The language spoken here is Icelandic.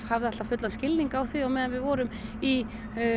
hafði alltaf fullan skilning á því á meðan við vorum í